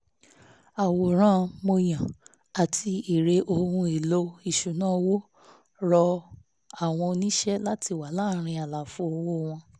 àwòrán mọ́yán àti èrè ohun èlò ìṣúnná owó rọ àwọn oníṣe láti wà láàrín àlàfo owó wọn